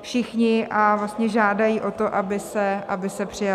všichni a vlastně žádají o to, aby se přijal.